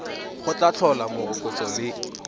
go tla tlhola morokotso le